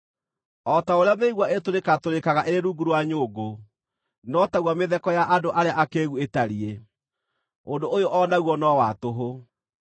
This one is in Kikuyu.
O ta ũrĩa mĩigua ĩtũratũrĩkaga ĩrĩ rungu rwa nyũngũ, no taguo mĩtheko ya andũ arĩa akĩĩgu ĩtariĩ. Ũndũ ũyũ o naguo no wa tũhũ.